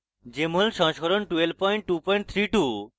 jmol সংস্করণ 12232